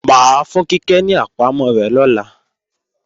Mà á fún Kíkẹ́ ní àpamọ́ rẹ̀ lọ́la